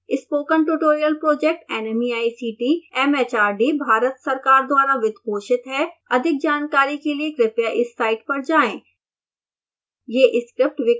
spoken tutorial project nmeict mhrd Bharat सरकार द्वारा वित्त पोषित है अधिक जानकारी के लिए कृपया इस साइट पर जाएं